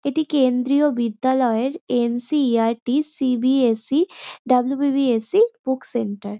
এটি কেন্দ্রীয় বিদ্যালয়ের N. C. E. R. T. C. B. S. E. W. B. B. S. E. Book centre.